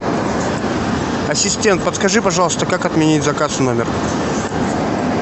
ассистент подскажи пожалуйста как отменить заказ в номер